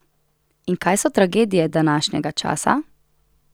In kaj so tragedije današnjega časa?